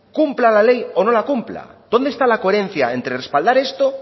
cumpla la ley o no la cumpla dónde está la coherencia entre respaldar esto